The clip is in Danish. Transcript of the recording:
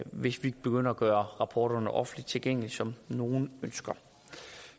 hvis vi begynder at gøre rapporterne offentligt tilgængelige som nogle ønsker